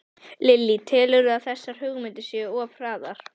Lillý: Telurðu að þessar hugmyndir séu of hraðar?